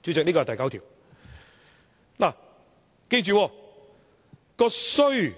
大家要記着，那"須"字是